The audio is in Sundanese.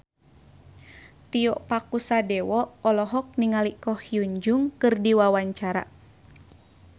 Tio Pakusadewo olohok ningali Ko Hyun Jung keur diwawancara